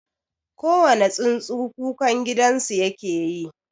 Kowane tsuntsu kukan gidansu yake yi.